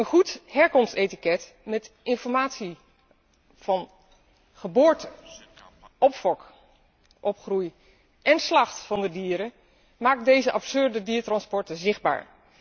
Een goed herkomstetiket met informatie over plaats van geboorte, opfok, opgroei en slacht van de dieren, maakt deze absurde dierentransporten zichtbaar.